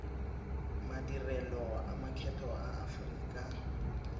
madirelo a makgetho a aforika